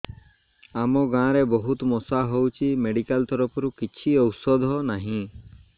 ଆମ ଗାଁ ରେ ବହୁତ ମଶା ହଉଚି ମେଡିକାଲ ତରଫରୁ କିଛି ଔଷଧ ନାହିଁ